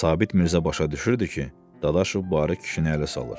Sabit Mirzə başa düşürdü ki, Dadaşov bu arıq kişini ələ salır.